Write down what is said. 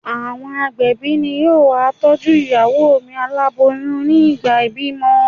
Àwọn agbẹ̀bí ni yóò ma tọ́jú ìyàwó mi aláboyún nígbà ìbímọ.